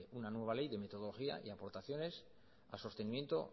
una nueva ley de metodología y aportaciones a sostenimiento